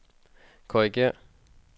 korrigér